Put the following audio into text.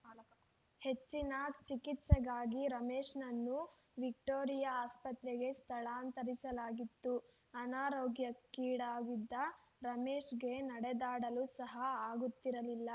ಹೆಚ್ಚಿನ ಚಿಕಿತ್ಸೆಗಾಗಿ ರಮೇಶ್‌ನನ್ನು ವಿಕ್ಟೋರಿಯಾ ಆಸ್ಪತ್ರೆಗೆ ಸ್ಥಳಾಂತರಿಸಲಾಗಿತ್ತು ಅನಾರೋಗ್ಯಕ್ಕೀಡಾಗಿದ್ದ ರಮೇಶ್‌ಗೆ ನಡೆದಾಡಲು ಸಹ ಆಗುತ್ತಿರಲಿಲ್ಲ